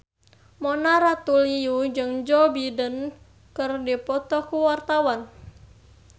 Mona Ratuliu jeung Joe Biden keur dipoto ku wartawan